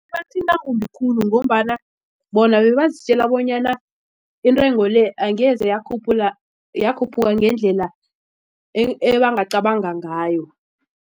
Kubathinta kumbi khulu ngombana bona bebazitjela bonyana intengo le angeze yakhuphaka ngendlela ngayo.